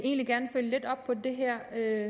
er